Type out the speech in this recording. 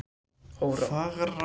Fagrahvammi